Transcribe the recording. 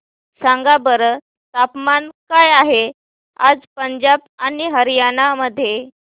सांगा बरं तापमान काय आहे आज पंजाब आणि हरयाणा मध्ये